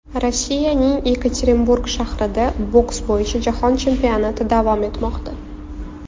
Rossiyaning Yekaterinburg shahrida boks bo‘yicha Jahon chempionati davom etmoqda.